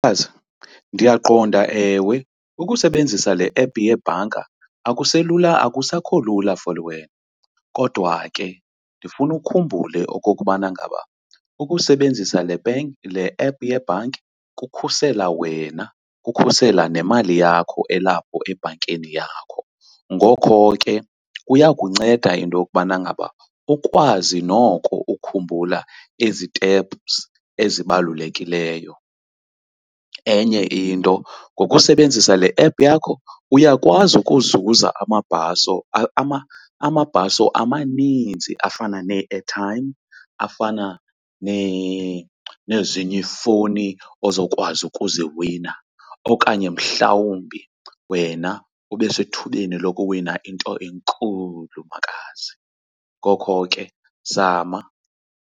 Makazi, ndiyaqonda ewe, ukusebenzisa le app yebhanka akusekho lula for wena, kodwa ke ndifuna ukhumbule okokubana ngaba ukusebenzisa le , le app yebhanki kukhusela wena, kukhusela nemali yakho elapho ebhankini yakho. Ngokho ke kuya kunceda into yokubana ngaba ukwazi noko ukhumbula iziteps ezibalulekileyo. Enye into ngokusebenzisa le app yakho uyakwazi ukuzuza amabhaso, amabhaso amaninzi afana nee-airtime, afana nezinye ifowuni ozokwazi ukuziwina okanye mhlawumbi wena ube sethubeni lokuwina into enkulu, makazi. Ngoko ke zama.